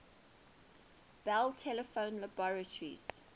bell telephone laboratories